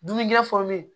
Dumunikɛ fɔlen